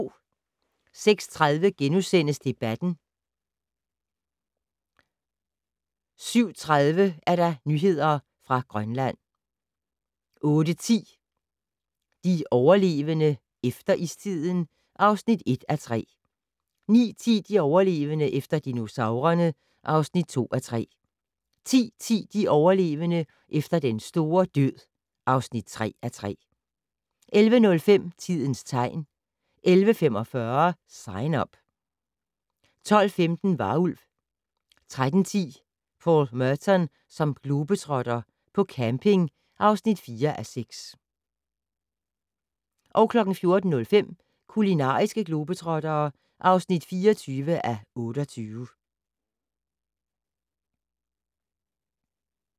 06:30: Debatten * 07:30: Nyheder fra Grønland 08:10: De overlevende - efter istiden (1:3) 09:10: De overlevende - efter dinosaurerne (2:3) 10:10: De overlevende - efter den store død (3:3) 11:05: Tidens tegn 11:45: Sign Up 12:15: Varulv 13:10: Paul Merton som globetrotter - på camping (4:6) 14:05: Kulinariske globetrottere (24:28)